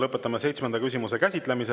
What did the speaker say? Lõpetame seitsmenda küsimuse käsitlemise.